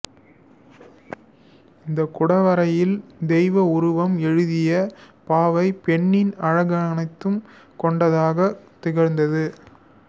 இந்தக் குடவரையில் தெய்வ உருவம் எழுதிய பாவை பெண்ணின் அழகனைத்தும் கொண்டதாகத் திகழ்ந்தது